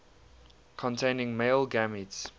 containing male gametes